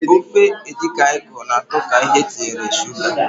Ofe edikang ikong na atọ ka ihe etinyere Suga.